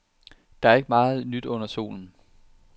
Der er ikke meget nyt under solen.